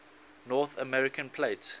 north american plate